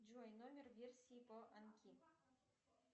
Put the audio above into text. джой номер версии поанки